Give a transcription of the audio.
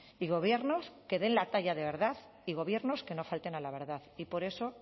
y gobiernos que den la talla de verdad y gobiernos que no falten a la verdad y por eso